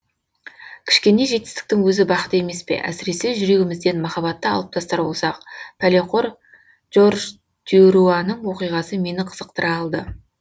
кішкене жетістіктің өзі бақыт емес пе әсіресе жүрегімізден махаббатты алып тастар болсақ пәлеқор жорж дюруаның оқиғасы мені қызықтыра алды